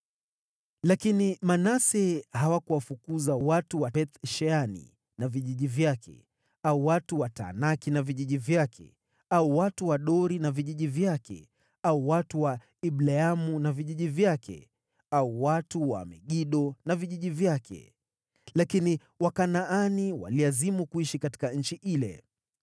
Lakini Manase hawakuwafukuza watu wa Beth-Shani na vijiji vyake, au watu wa Taanaki na vijiji vyake, au watu wa Dori na vijiji vyake, au watu wa Ibleamu na vijiji vyake, au watu wa Megido na vijiji vyake, lakini Wakanaani waliazimu kuishi katika nchi ile.